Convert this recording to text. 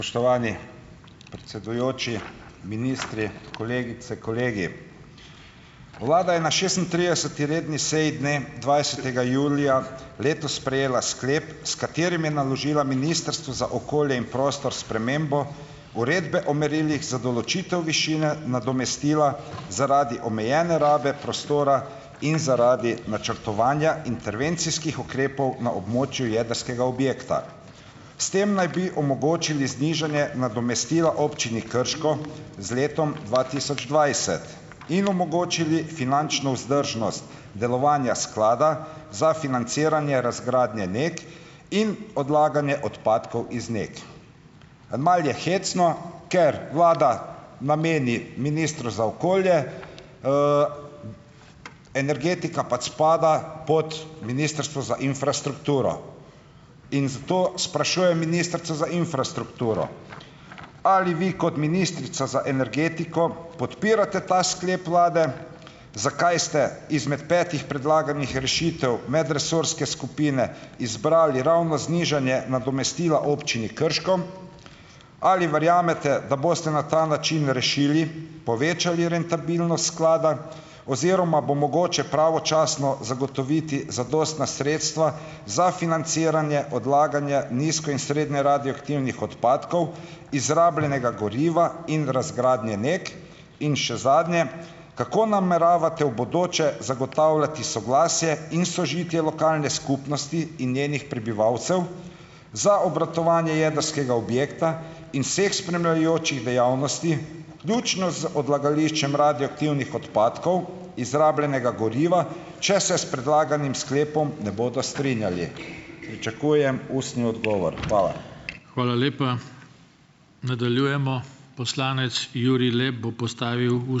Predsedujoči, ministri, kolegice, kolegi! Vlada je na šestintrideseti redni seji dne dvajsetega julija letos sprejela sklep, s katerim je naložila Ministrstvu za okolje in prostor spremembo uredbe o merilih za določitev višine nadomestila zaradi omejene rabe prostora in zaradi načrtovanja intervencijskih ukrepov na območju jedrskega objekta. S tem naj bi omogočili znižanje nadomestila občini Krško z letom dva tisoč dvajset in omogočili finančno vzdržnost delovanja sklada za financiranje razgradnje NEK in odlaganje odpadkov iz NEK. "En mal" je hecno, ker vlada nameni ministru za okolje ... energetika pač spada pod Ministrstvo za infrastrukturo in zato sprašujem ministrico za infrastrukturo, ali vi kot ministrica za energetiko podpirate ta sklep vlade? Zakaj ste izmed petih predlaganih rešitev medresorske skupine izbrali ravno znižanje nadomestila občini Krško? Ali verjamete, da boste na ta način rešili, povečali rentabilnost sklada oziroma bo mogoče pravočasno zagotoviti zadostna sredstva za financiranje, odlaganje nizko in srednje radioaktivnih odpadkov, izrabljenega goriva in razgradnje NEK, in še zadnje, kako nameravate v bodoče zagotavljati soglasje in sožitje lokalne skupnosti in njenih prebivalcev za obratovanje jedrskega objekta in vseh spremljajočih dejavnosti, vključno z odlagališčem radioaktivnih odpadkov, izrabljenega goriva, če se s predlaganim sklepom ne bodo strinjali. Pričakujem ustni odgovor. Hvala.